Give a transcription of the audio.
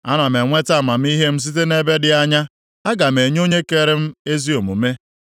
Ana m enweta amamihe m site nʼebe dị anya; aga m enye Onye kere m ezi omume.